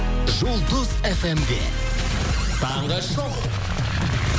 жұлдыз фм де таңғы шоу